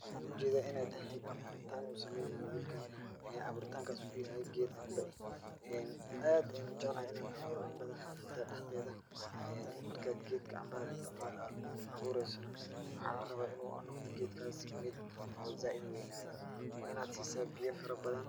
Waxaan u jeedaa in ay tahay abuuritaan uu sameynaayo wilkan. Abuuritankas uu yahay geed camba eh. Aad ayaan u jeclahay in aan abuuro cambada haafada dhexdeeda. Marka aad geedka cambada aad abuuraysana waxaa la rabaa in uu noqdo geedkaas mid oo zaaid u weynaado. Waa in aad siisaa biyo farabadan.